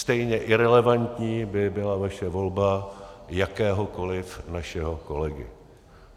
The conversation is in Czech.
Stejně irelevantní by byla vaše volba jakéhokoliv našeho kolegy.